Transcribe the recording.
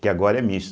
Que agora é misto